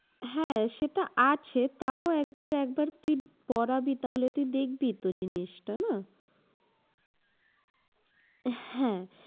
হ্যাঁ সেটা আছে, তাও একবার একবার তুই পড়াবি তাহলে তুই দেখবি তো জিনিসটা না? হ্যাঁ